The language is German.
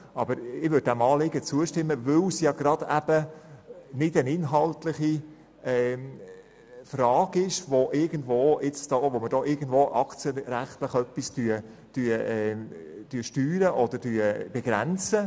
Ich werde diesem Anliegen auch deshalb zustimmen, weil es gerade keine inhaltliche Frage ist, um irgendetwas aktienrechtlich zu steuern oder zu begrenzen.